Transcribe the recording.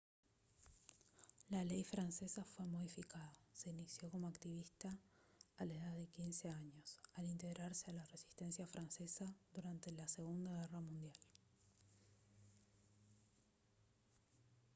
la ley francesa fue modificada se inició como activista a la edad de 15 años al integrarse a la resistencia francesa durante la segunda guerra mundial